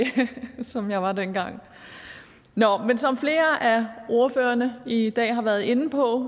som jeg var dengang som flere af ordførerne i dag har været inde på